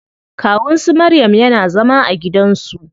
Kawun su maryam yana zama a gidan su.